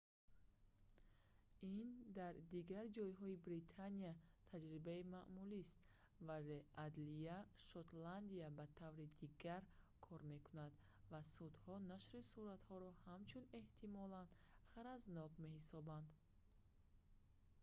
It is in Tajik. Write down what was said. ин дар дигар ҷойҳои британия таҷрибаи маъмулист вале адлияи шотландия ба таври дигар кор мекунад ва судҳо нашри суратҳоро ҳамчун эҳтимолан ғаразнок меҳисобанд